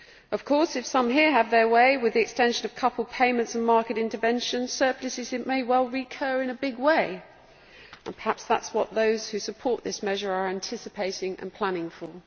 Of course if some here have their way with the extension of coupled payments and market interventions, surpluses may well recur in a big way, and perhaps that is what those who support this measure are anticipating and planning for.